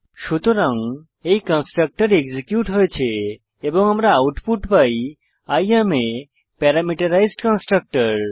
সুতরাং এই constructor execute হয়েছে এবং আমরা আউটপুট পাই I am a parameterised constructor